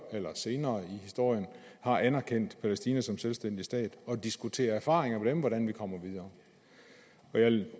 eller senere i historien har anerkendt palæstina som selvstændig stat og diskuterer erfaringer med dem om hvordan vi kommer videre